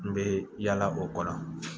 N bɛ yaala o kɔ la